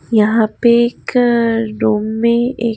यहां पे एकअ रूम मे एक--